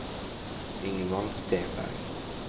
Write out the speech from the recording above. Ingvald Stenberg